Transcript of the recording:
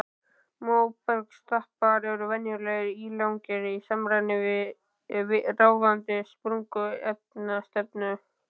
Móbergsstapar eru venjulega ílangir í samræmi við ráðandi sprungustefnu.